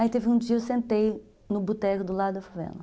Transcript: Aí teve um dia, eu sentei no boteco do lado da favela.